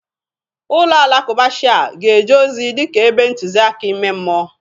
Ụlọ alakụba Shia ga-eje ozi dịka ebe ntụzịaka ime mmụọ.